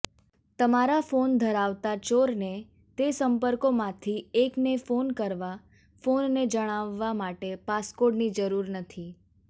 તમારો ફોન ધરાવતા ચોરને તે સંપર્કોમાંથી એકને ફોન કરવા ફોનને જણાવવા માટે પાસકોડની જરૂર નથી